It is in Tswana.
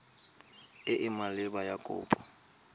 e e maleba ya kopo